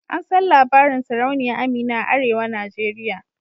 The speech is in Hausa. An san labarin sarauniya Amina a arewa nigeria.